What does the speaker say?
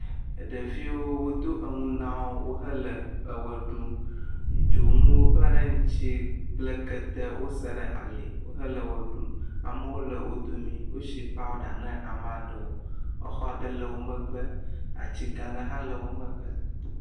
Ɖeviwo wodo enu na wo wohe le eʋe ɖum. Dzonuwo kpla ɖe ŋuti kple kete wosa ɖe ali wohe le ʋe ɖum. Amewo le wo dome. Wosi pɔra na ame aɖewo. Atsi gã aɖe hã le wo megbe.